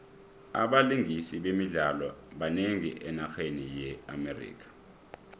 abalingisi bemidlalo banengi enarheni ye amerika